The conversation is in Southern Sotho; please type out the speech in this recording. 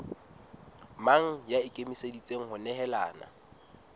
mang ya ikemiseditseng ho nehelana